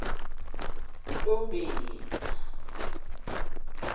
ntombela